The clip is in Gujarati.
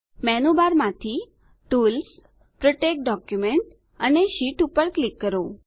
મેનુબારમાંથી ટૂલ્સ પ્રોટેક્ટ ડોક્યુમેન્ટ અને શીટ પર ક્લિક કરો